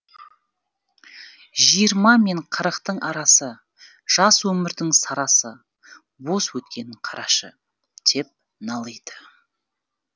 жиырма мен қырықтың арасы жас өмірдің сарасы бос өткенін қарашы деп налиды